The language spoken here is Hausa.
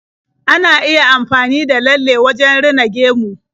Ana iya amfani da lalle wajen rina gemu.